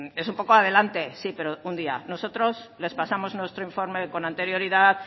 es un poco adelante sí pero un día nosotros les pasamos nuestro informe con anterioridad